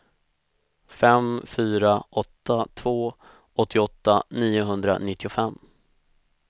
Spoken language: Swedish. fem fyra åtta två åttioåtta niohundranittiofem